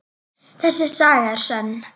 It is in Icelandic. Þessi saga er sönn.